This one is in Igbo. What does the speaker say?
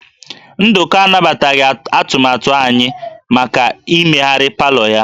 Nduka anabataghị atụmatụ anyị maka imegharị palọ ya